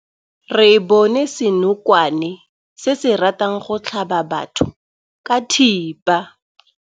Re bone senokwane se se ratang go tlhaba batho ka thipa.